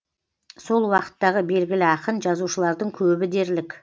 сол уақыттағы белгілі ақын жазушылардың көбі дерлік